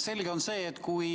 Selge on see, et kui